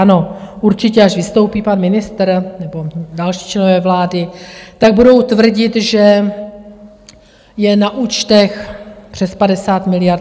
Ano, určitě, až vystoupí pan ministr nebo další členové vlády, tak budou tvrdit, že je na účtech přes 50 miliard.